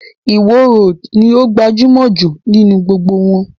Ìwo roòdù ní o gbajúmọ̀ jù nínú gbogbo wọn.